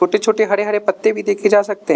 छोटे छोटे हरे हरे पत्ते भी देखे जा सकते हैं।